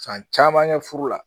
San caman kɛ furu la